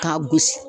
K'a gosi